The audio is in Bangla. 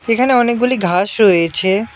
এখানে অনেকগুলি ঘাস রয়েছে।